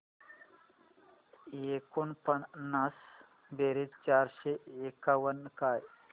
एकोणपन्नास बेरीज चारशे एकावन्न काय